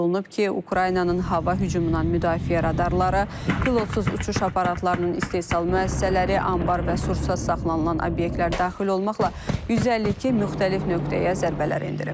Qeyd olunub ki, Ukraynanın hava hücumundan müdafiə radarları, pilotsuz uçuş aparatlarının istehsal müəssisələri, anbar və sursat saxlanılan obyektlər daxil olmaqla 152 müxtəlif nöqtəyə zərbələr endirib.